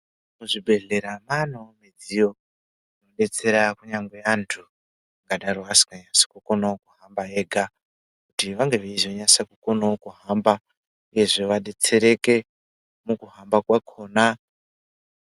Muzvibhedhlera mwaanewo midziyo inodetsera kunyangwe antu angadaro asinganyatsi kukonawo kuhamba ega , kuti vange veizokona kuhamba uyezve vadetsereke mukuhamba kwakhona.